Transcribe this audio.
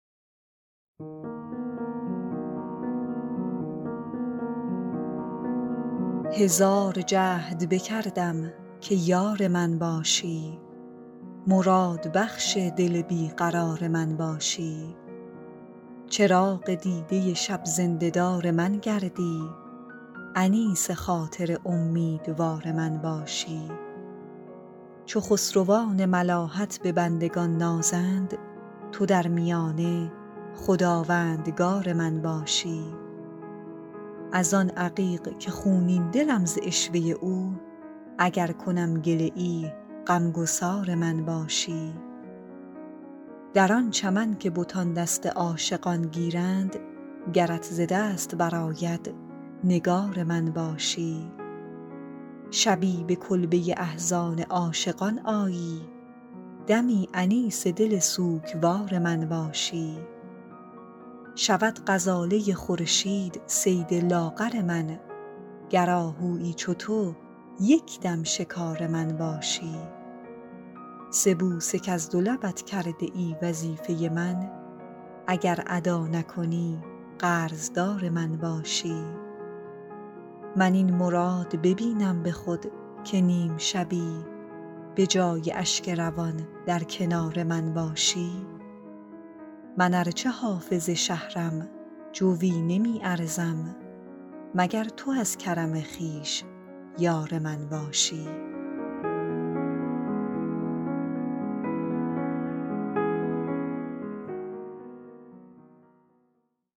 هزار جهد بکردم که یار من باشی مرادبخش دل بی قرار من باشی چراغ دیده شب زنده دار من گردی انیس خاطر امیدوار من باشی چو خسروان ملاحت به بندگان نازند تو در میانه خداوندگار من باشی از آن عقیق که خونین دلم ز عشوه او اگر کنم گله ای غم گسار من باشی در آن چمن که بتان دست عاشقان گیرند گرت ز دست برآید نگار من باشی شبی به کلبه احزان عاشقان آیی دمی انیس دل سوگوار من باشی شود غزاله خورشید صید لاغر من گر آهویی چو تو یک دم شکار من باشی سه بوسه کز دو لبت کرده ای وظیفه من اگر ادا نکنی قرض دار من باشی من این مراد ببینم به خود که نیم شبی به جای اشک روان در کنار من باشی من ار چه حافظ شهرم جویی نمی ارزم مگر تو از کرم خویش یار من باشی